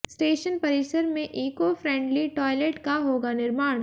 station परिसर में eco friendly toilet का होगा निर्माण